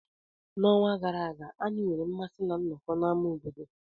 N'ọnwa gara aga, anyị nwere mmasị ná nnọkọ n'ámá obodo.